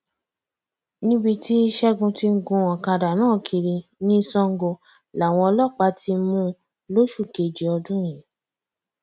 níbi tí ṣẹgun ti ń gun ọkadà náà kiri ní sango làwọn ọlọpàá ti mú un lóṣù kejì ọdún yìí